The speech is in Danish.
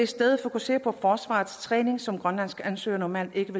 stedet fokusere på forsvarets træning som grønlandske ansøgere normalt ikke